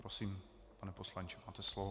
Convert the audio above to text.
Prosím, pane poslanče, máte slovo.